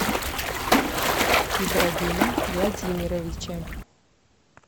ибрагимом владимировичем